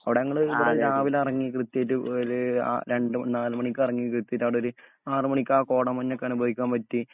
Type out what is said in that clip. അവിടെഞങ്ങള് രാവിലെയിറങ്ങി കൃത്യായിട്ട് പോയാല് ആ രണ്ട് നാലുമണിക്കിറങ്ങി എത്തീട്ട് അവിടൊരു ആറുമണിക്ക് ആ കോടമഞ്ഞൊക്കെ അനുഭവിക്കാൻ പറ്റി.